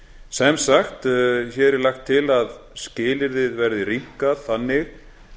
sem sagt hér er lagt til að skilyrðið verði rýmkað þannig